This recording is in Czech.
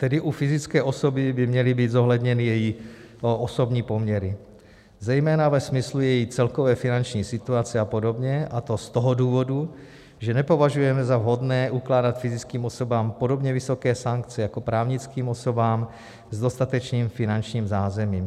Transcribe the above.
Tedy u fyzické osoby by měly být zohledněny její osobní poměry, zejména ve smyslu její celkové finanční situace a podobně, a to z toho důvodu, že nepovažujeme za vhodné ukládat fyzickým osobám podobně vysoké sankce jako právnickým osobám s dostatečným finančním zázemím.